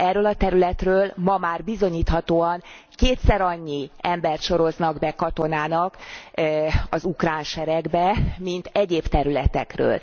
Erről a területről, ma már bizonyíthatóan, kétszerannyi embert soroznak be katonának az ukrán seregbe, mint egyéb területekről.